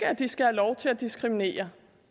at de skal have lov til at diskriminere